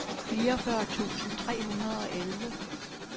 fireogfyrre tusind tre hundrede og elleve